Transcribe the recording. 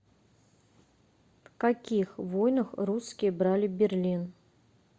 в каких войнах русские брали берлин